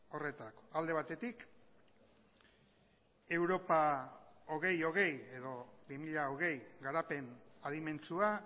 horretarako alde batetik europa bi mila hogei edo bi mila hogei garapen adimentsua